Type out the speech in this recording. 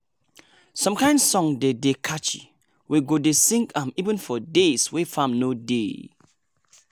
some kain song dey dey catchy we go dey sing am even for days wey farm no dey.